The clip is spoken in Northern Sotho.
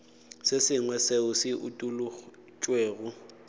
se sengwe seo se utolotšwego